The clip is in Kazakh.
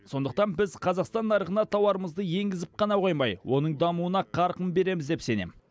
сондықтан біз қазақстан нарығына тауарымызды енгізіп қана қоймай оның дамуына қарқын береміз деп сенем